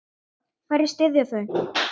Hverja styðja þau?